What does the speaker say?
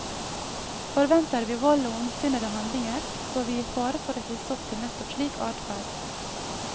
Forventer vi vold og ondsinnede handlinger, står vi i fare for å hisse til nettopp slik adferd.